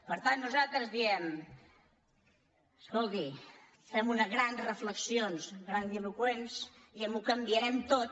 per tant nosaltres diem escolti fem unes grans re·flexions grandiloqüents dient ho canviarem tot